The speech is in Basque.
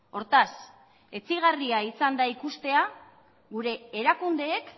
hortaz etsigarria izan da ikustea gure erakundeek